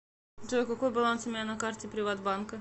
джой какой баланс у меня на карте приват банка